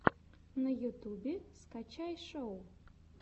на ютьюбе скачай шоу